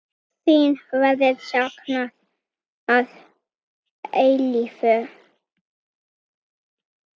Þín verður saknað að eilífu.